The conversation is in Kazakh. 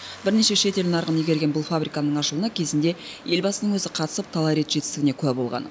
бірнеше шет ел нарығын игерген бұл фабриканың ашылуына кезінде елбасының өзі қатысып талай рет жетістігіне куә болған